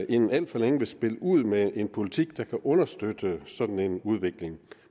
inden alt for længe vil spille ud med en politik der kan understøtte sådan en udvikling